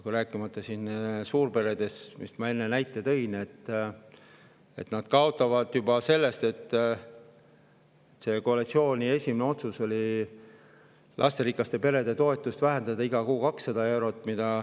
Rääkimata suurperedest – ma enne tõin näite, et nad kaotavad juba selle tõttu, et koalitsiooni esimene otsus oli vähendada lasterikaste perede toetust iga kuu 200 eurot.